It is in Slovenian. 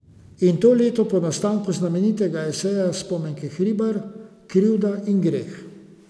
In to leto po nastanku znamenitega eseja Spomenke Hribar Krivda in greh.